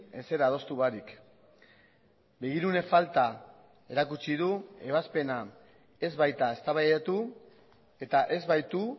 ezer adostu barik begirune falta erakutsi du ebazpena ez baita eztabaidatu eta ez baitu